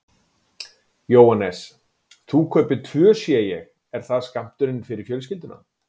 Jóhannes: Þú kaupir tvö sé ég, er það skammturinn fyrir fjölskylduna?